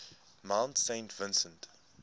mount saint vincent